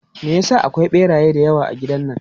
Me ya sa akwai ɓeraye da yawa a gidan nan?